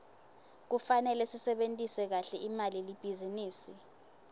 kufanele sisebentise kahle imali yelibhizinisi